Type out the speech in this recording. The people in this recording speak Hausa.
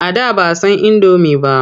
A da ba san indomi ba.